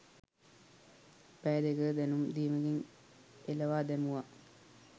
පැය දෙකක දැනුම් දීමකින් එළවා දැමුවා.